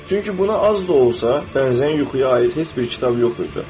Çünki buna az da olsa bənzəyən yuxuya aid heç bir kitab yox idi.